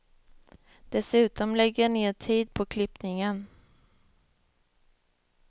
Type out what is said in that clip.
Dessutom lägger jag ned tid på klippningen.